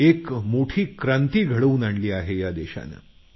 एक मोठी क्रांती घडवून आणली आहे या देशानं